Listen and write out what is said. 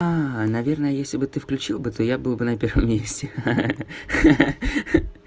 наверное если бы ты включил бы то я был бы на первом месте ха-ха